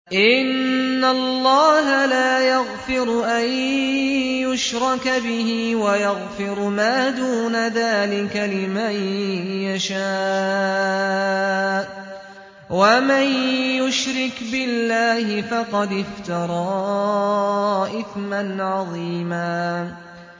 إِنَّ اللَّهَ لَا يَغْفِرُ أَن يُشْرَكَ بِهِ وَيَغْفِرُ مَا دُونَ ذَٰلِكَ لِمَن يَشَاءُ ۚ وَمَن يُشْرِكْ بِاللَّهِ فَقَدِ افْتَرَىٰ إِثْمًا عَظِيمًا